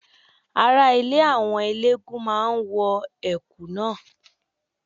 Ara ilé àwọn eléégún máa wọ Ẹ̀kú náà.